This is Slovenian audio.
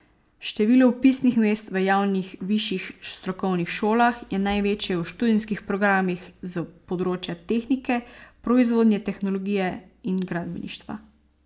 Število vpisnih mest v javnih višjih strokovnih šolah je največje v študijskih programih s področja tehnike, proizvodne tehnologije in gradbeništva.